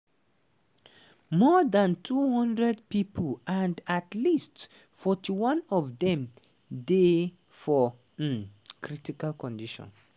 more dan 200 pipo and at least 41 of dem dey for um critical condition.